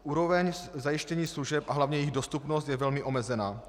Úroveň zajištění služeb a hlavně jejich dostupnost je velmi omezená.